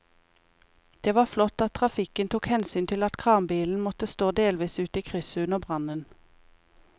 Det var flott at trafikken tok hensyn til at kranbilen måtte stå delvis ute i krysset under brannen.